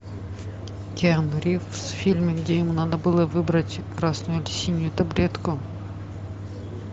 киану ривз в фильме где ему надо было выбрать красную или синюю таблетку